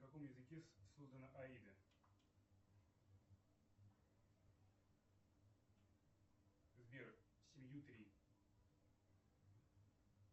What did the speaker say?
на каком языке создана аида сбер семью три